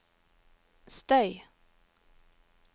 støy